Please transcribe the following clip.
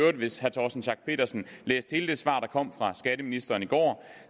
og hvis herre torsten schack pedersen læste hele det svar der kom fra skatteministeren i går